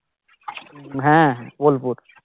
হ্যাঁ হ্যাঁ বোলপুর